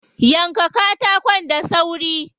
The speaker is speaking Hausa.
Yanka katakon da sauri.